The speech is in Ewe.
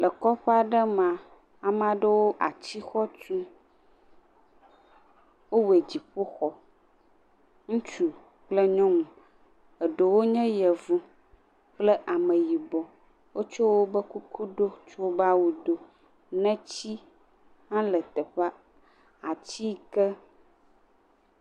Le kɔƒe aɖe mea, ame aɖewo le atixɔ tum, wowɔe dziƒoxɔ, ŋutsu kple nyɔnu, eɖewo nye yevu kple ameyibɔ, wotsɔ wobe kuku do tsɔ wobe awu do, neti hã le teƒea, ati ke.